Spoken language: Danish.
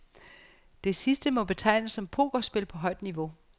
Det sidste må betegnes som pokerspil på højt niveau.